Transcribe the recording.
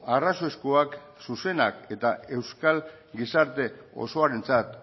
arrazoizkoak zuzenak eta euskal gizarte osoarentzat